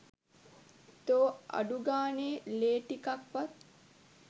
තෝ අඩුගානේ ලේ ටිකක්වත්